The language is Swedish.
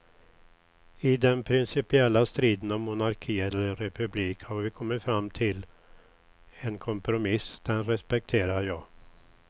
I den principiella striden om monarki eller republik har vi kommit fram till en kompromiss, den respekterar jag.